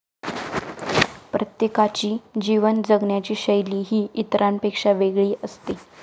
प्रत्येकाची जीवन जगण्याची शैली ही इतरांपेक्षा वेगळी असते.